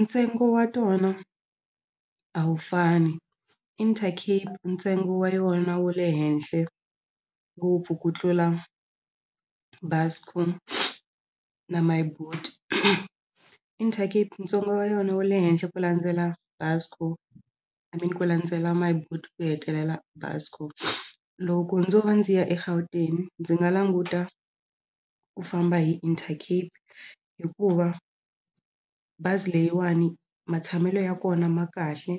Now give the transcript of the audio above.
Ntsengo wa tona a wu fani Intercape ntsengo wa yona wu le henhle ngopfu ku tlula Buscor na My Boet Intercape ntsengo wa yona wu le henhla ku landzela Buscor I mean ku landzela My Boet ku hetelela Buscor loko ndzo va ndzi ya eGauteng ndzi nga languta ku famba hi Intercape hikuva bazi leyiwani matshamelo ya kona ma kahle